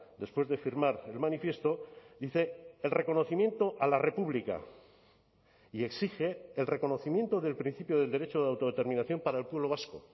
después de firmar el manifiesto dice el reconocimiento a la república y exige el reconocimiento del principio del derecho de autodeterminación para el pueblo vasco